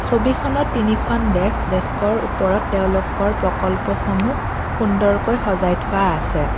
ছবিখনত তিনিখন ডেস্ক ডেস্কৰ ওপৰত তেওঁলোকৰ প্ৰকল্পসমূহ সুন্দৰকৈ সজায় থোৱা আছে।